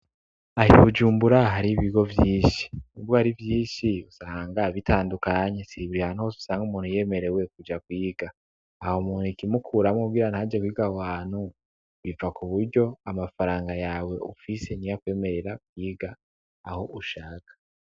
Aha i Bujumbura hari ibigo vyinshi. Nubwo hari vyinshi usanga bitandukanye, sibi ahantu hose usanga umuntu yemerewe kuja kwiga. Aho muntu ikimukuramwo kugira ntaje kwiga aho hantu biva ku buryo, amafaranga yawe ufise niyo akwemerera kwiga aho ushaka.